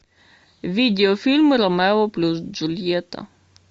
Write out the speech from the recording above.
видеофильм ромео плюс джульетта